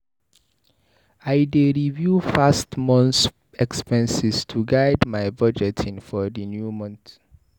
I dey review past months' expenses to guide my budgeting for the new month.